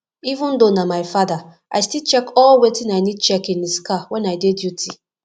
even though nah my father i still check all wetin i need check in his car when i dey duty